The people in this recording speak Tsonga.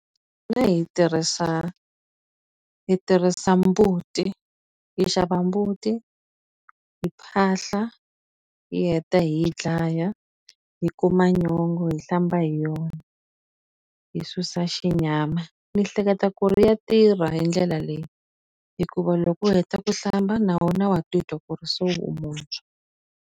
hi tirhisa hi tirhisa mbuti. Hi xava mbuti, hi phahla, hi heta hi yi dlaya, hi kuma nyongwa hi hlamba hi yona, hi susa xinyama. Ni hleketa ku ri ya tirha hi ndlela leyi, hikuva loko u heta ku hlamba na wena wa titwa ku ri se u muntshwa.